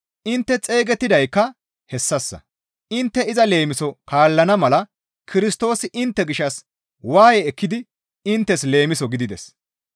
Intte xeygettidaykka hessassa; intte iza leemiso kaallana mala Kirstoosi intte gishshas waaye ekkidi inttes leemiso gidides.